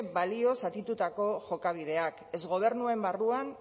balio zatitutako jokabideak ez gobernuen barruan